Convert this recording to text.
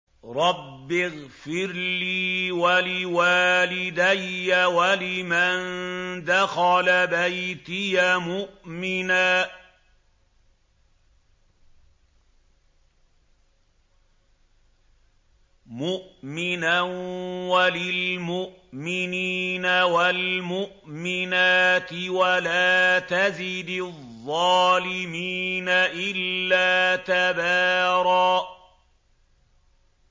رَّبِّ اغْفِرْ لِي وَلِوَالِدَيَّ وَلِمَن دَخَلَ بَيْتِيَ مُؤْمِنًا وَلِلْمُؤْمِنِينَ وَالْمُؤْمِنَاتِ وَلَا تَزِدِ الظَّالِمِينَ إِلَّا تَبَارًا